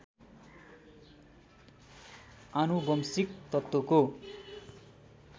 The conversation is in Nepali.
आनुवंशिक तत्त्वको